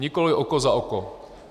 Nikoliv oko za oko.